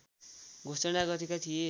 घोषणा गरेका थिए